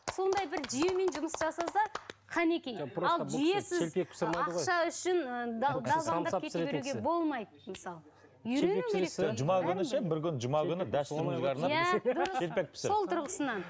сондай бір жүйемен жұмыс жасаса қанекей